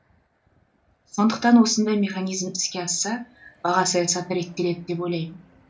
сондықтан осындай механизм іске асса баға саясаты реттеледі деп ойлаймын